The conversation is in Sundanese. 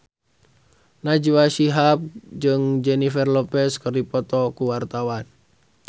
Najwa Shihab jeung Jennifer Lopez keur dipoto ku wartawan